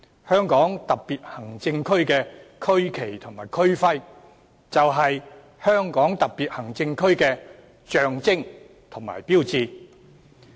香港特別行政區的區旗及區徽，就是香港特別行政區的象徵和標誌。